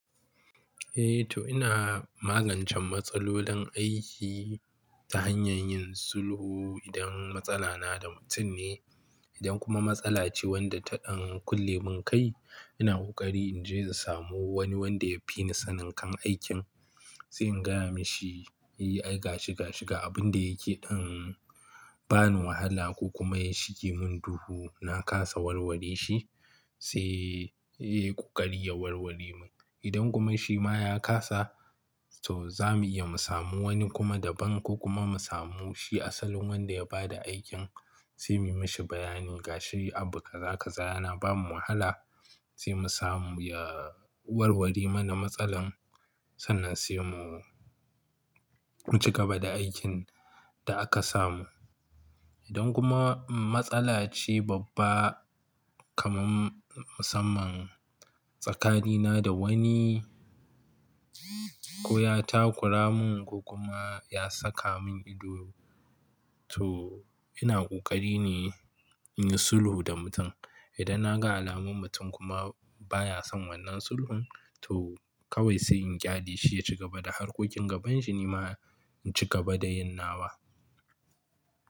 Eh to ina magancen matsalolin aiki ta hanyar yin sulhu idan matsala na da mutum ne. Idan kuma matsala ce wanda ta dan kulle mun kai, ina ƙoƙari in je in samu wani wanda ya fi ni sanin kan aikin sai in gaya mashi E ai gashi gashi ga abun da yake ɗan ba ni wahala ko kuma ya shige mun duhu na kasa warware shi sai eh ku ƙari ya warware mun. Idan kuma shi ma ya kasa to za mu iya mu samu wani kuma daban ko kuma mu samu shi asalin wanda ya ba da aikin sai mu yi mashi bayani gashi abu kaza kaza yana ba mu wahala sai mu samu ya warware mana matsalar. Sannan sai mu ci gaba da aikin da aka samu. Idan kuma matsala ce babba kamar musamman tsakanina da wani ko ya takura mun ko kuma ya saka mun ido to ina ƙoƙari ne in yi sulhu da mutum. Idan na ga alamun mutum kuma baya son wannan sulhun to kawai sai in gyadi shi ya ci gaba da harkokin gabanshi ni ma in ci gaba da yin nawa.